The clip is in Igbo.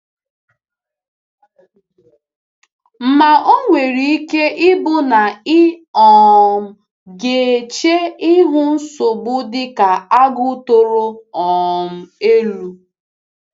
Ma o nwere ike ịbụ na ị um ga-eche ihu nsogbu dị ka Agu toro um elu.